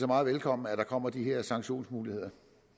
meget velkommen at der kommer de her sanktionsmuligheder